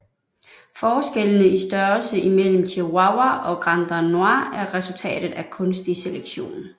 Forskellene i størrelse imellem Chihuahua og Granddanois er resultatet af kunstig selektion